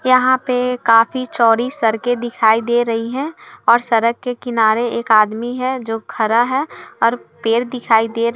यहाँ पे काफी चौड़ी सड़कें दिखाई दे रही हैं और सड़क के किनारे एक आदमी है जो खड़ा है और पेड़ दिखाई दे र --